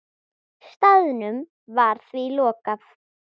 Staðnum var því lokað.